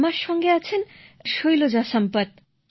আমার সাথে আছে শৈলজা সম্পত